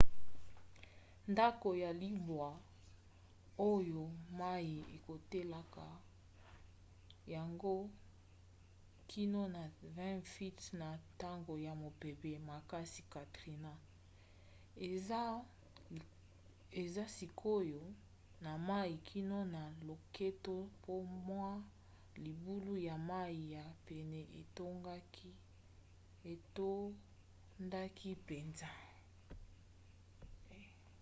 ndako ya libwa oyo mai ekotelaka yango kino na 20 feet na ntango ya mopepe makasi katrina eza sikoyo na mai kino na loketo po mwa libulu ya mai ya pene etondaki mpenza